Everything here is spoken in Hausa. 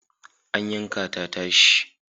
An yanka ta tashi.